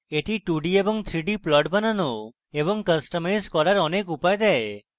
scilab বিভিন্ন ধরনের 2d এবং 3d plots বানানো এবং কাস্টমাইজ করার অনেক উপায় দেয়